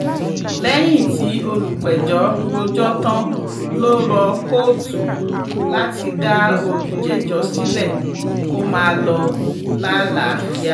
lẹ́yìn tí olùpẹ̀jọ́ rojọ́ tán ló rọ kóòtù láti dá olùjẹ́jọ́ sílẹ̀ kó máa lọ lálàáfíà